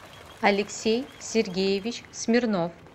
алексей сергеевич смирнов